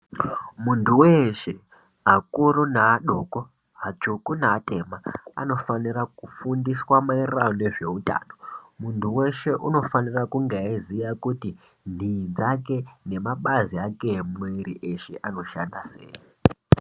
Muntu wehse akuru neadoko, atsvuku neatema anofana kufundiswa mayererano nezveutano. Muntu weshe unofanira kunge eiziya kuti ntiyi dzake nemabazi ake emwiri wake anoshanda sei.